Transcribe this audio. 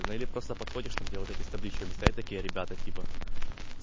наверно просто подходишь там где вот эти с табличками стоят такие ребята типо